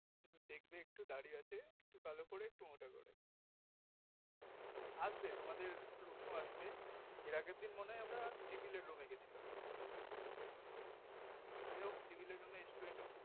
দেখবে একটু দাড়ি আছে একটু কালো করে মোটা করে আসবে তোমাদের room এ আসবে এর আগের দিন মনে হয় আমরা civil এর room এ গিয়েছিলাম যাই হোক civil এ room student